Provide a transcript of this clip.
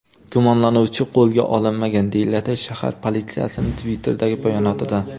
Gumonlanuvchi qo‘lga olinmagan”, deyiladi shahar politsiyasining Twitter’dagi bayonotida.